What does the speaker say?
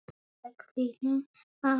Alveg í þínum anda.